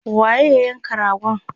waye ya yanka ragon?